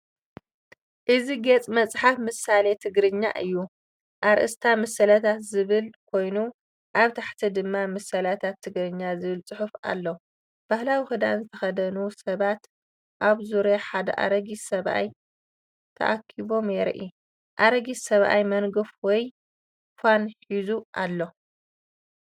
እዚ ገጽ መጽሓፍ ምሳሌ ትግርኛ እዩ። ኣርእስቲ "ምስላታት" ዝብል ኮይኑ፡ ኣብ ታሕቲ ድማ "ምስላታት ትግርኛ" ዝብል ጽሑፍ ኣሎ። ባህላዊ ክዳን ዝተኸድኑ ሰባት ኣብ ዙርያ ሓደ ኣረጊት ሰብኣይ ተኣኪቦም የርኢ፣ ኣረጊት ሰብኣይ መንገፍ ወይ ፋን ሒዙ ኣሎ።